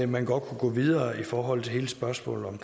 man godt kunne gå videre i forhold til hele spørgsmålet om